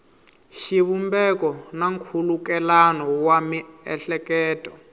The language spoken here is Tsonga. xivumbeko na nkhulukelano wa miehleketo